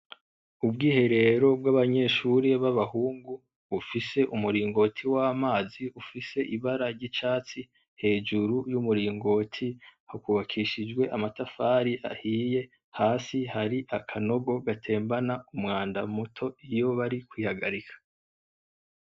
Ubwiherero bw’abanyeshure ba bahungu bufise umuringoti w’amazi ufise ibara ry’icatsi. Hejuru y’umuringoti, hakubakishijwe amatafari ahiye. Hasi hari akanogo gatembana umwanda muto iyo bari kwihagarika.